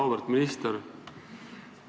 Auväärt minister!